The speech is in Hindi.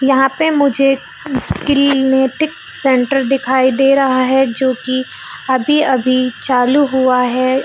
यहाँ पे मुझे किलनेटिक सेंटर ई दे रहा है जो की अभी अभी चालू हुआ है।